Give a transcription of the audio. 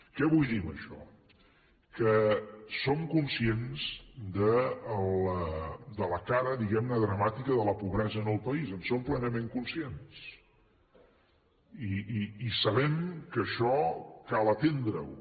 què vull dir amb això que som conscients de la cara diguem ne dramàtica de la pobresa en el país en som plenament conscients i sabem que això cal atendreho